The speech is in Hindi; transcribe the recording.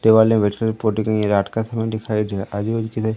दीवाल मे बैठ कर फोटो कहीं ये रात का समय दिखाइ दे रहा आजू बाजू किधर--